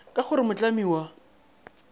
ka go re mohlami wa